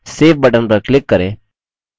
save button पर click करें